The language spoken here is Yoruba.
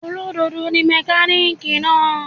Olódodo ni mẹ́kánìkì náà.